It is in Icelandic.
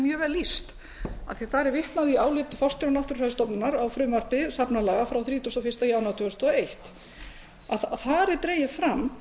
mjög vel lýst af því að þar er vitnað í álit forstjóra náttúrufræðistofnunar á frumvarpi safnalaga frá þrítugasta og fyrsta janúar tvö þúsund og eitt þar er dregið fram